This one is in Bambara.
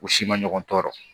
U si ma ɲɔgɔn tɔɔrɔ